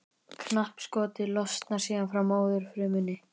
Knappskotið losnar síðan frá móðurfrumunni.